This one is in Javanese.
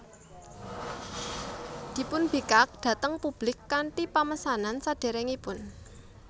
Dipunbikak dhateng publik kanthi pamesenan sadèrèngipun